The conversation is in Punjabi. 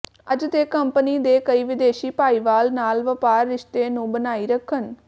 ਅੱਜ ਦੇ ਕੰਪਨੀ ਦੇ ਕਈ ਵਿਦੇਸ਼ੀ ਭਾਈਵਾਲ ਨਾਲ ਵਪਾਰ ਰਿਸ਼ਤੇ ਨੂੰ ਬਣਾਈ ਰੱਖਣ